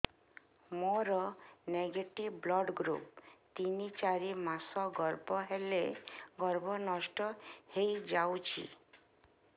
ମୋର negative blood group ତିନ ଚାରି ମାସ ଗର୍ଭ ହେଲେ ଗର୍ଭ ନଷ୍ଟ ହେଇଯାଉଛି